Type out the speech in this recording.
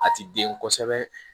A ti den kosɛbɛ